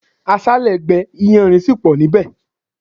Aṣále gbé iyanrìn sì pọ nibẹ